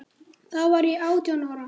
Þá var ég átján ára.